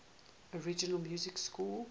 original music score